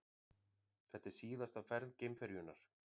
Þetta er síðasta ferð geimferjunnar